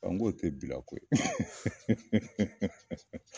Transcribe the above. An go tɛ bila koyi